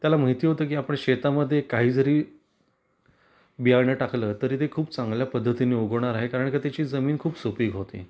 त्याला माहिती होतं की आपण शेता मध्ये काहीजरी बियाण टाकलं तरी ते खूप चांगल्या पद्धतीने उगवणार आहे कारण का त्याची जमीन खूप सुपीक होती.